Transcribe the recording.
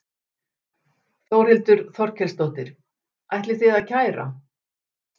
Þórhildur Þorkelsdóttir: Ætlið þið að kæra?